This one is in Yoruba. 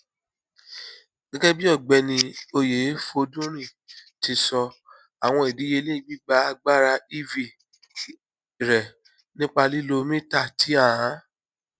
gẹgẹbi ọgbẹni oyefodunrin ti sọ awọn idiyele gbigba agbara ev rẹ nipa lilo mita ti a